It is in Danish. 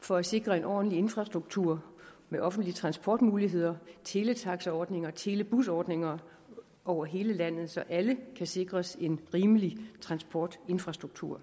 for at sikre en ordentlig infrastruktur med offentlige transportmuligheder teletaxaordninger og telebusordninger over hele landet så alle kan sikres en rimelig transportinfrastruktur